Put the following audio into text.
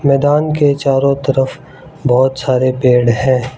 मैदान के चारों तरफ बहोत सारे पेड़ है।